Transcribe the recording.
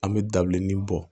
An bɛ dabileni bɔ